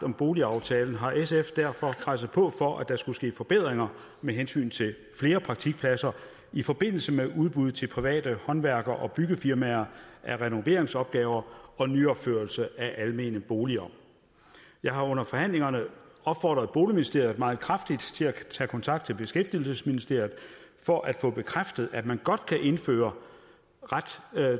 om boligaftalen har sf derfor presset på for at der skulle ske forbedringer med hensyn til flere praktikpladser i forbindelse med udbud til private håndværker og byggefirmaer af renoveringsopgaver og nyopførelser af almene boliger jeg har under forhandlingerne opfordret boligministeriet meget kraftigt til at tage kontakt til beskæftigelsesministeriet for at få bekræftet at man godt kan indføre ret